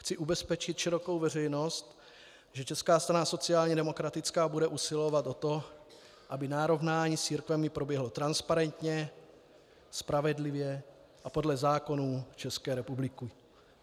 Chci ubezpečit širokou veřejnost, že Česká strana sociálně demokratická bude usilovat o to, aby narovnání s církvemi proběhlo transparentně, spravedlivě a podle zákonů České republiky.